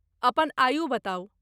अपन आयु बताउ।